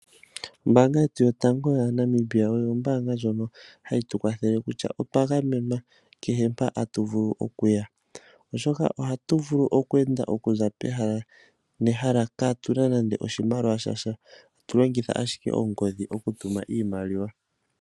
Ombaanga yetu yotango yomoNamibia oyo ombaanga ndjono hayi tukwathele kutya otwa gamenwa kehe mpoka tatu vulu okuya, oshoka ohatu vulu okweenda okuza pehala nehala kaatuna nande ehala oshimaliwa sha sha, tatu longitha ashike ongodhi okutuma iimaliwa.